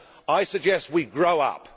I suggest we grow up.